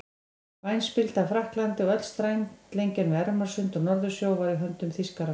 Væn spilda af Frakklandi og öll strandlengjan við Ermarsund og Norðursjó var í höndum Þýskaranna.